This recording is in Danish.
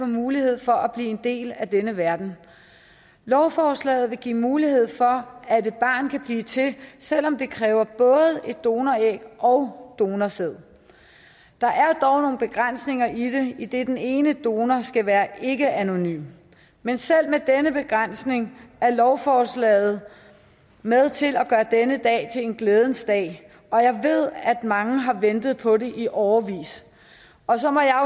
mulighed for at blive en del af denne verden lovforslaget vil give mulighed for at et barn kan blive til selv om det kræver både et donoræg og donorsæd der er dog nogle begrænsninger i det idet den ene donor skal være ikkeanonym men selv med den begrænsning er lovforslaget med til at gøre denne dag til en glædens dag og jeg ved at mange har ventet på det i årevis og så må jeg